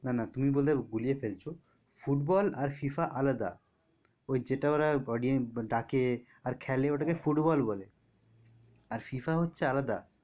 না না তুমি বোধ হয় গুলিয়ে ফেলছো ফুটবল আর FIFA আলাদা ওই যেটা ওরা ডাকে আর খেলে ওটাকে ফুটবল বলে আর FIFA হচ্ছে আলাদা